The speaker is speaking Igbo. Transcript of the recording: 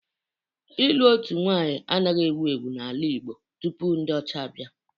Ịlụ otu nwaanyị anaghị ewu ewu n'ala Igbo tupu ndị ọcha abịa